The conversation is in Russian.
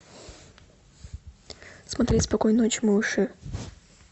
смотреть спокойной ночи малыши